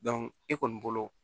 e kɔni bolo